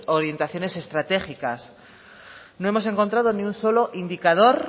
orientaciones estratégicas no hemos encontrado ni un solo indicador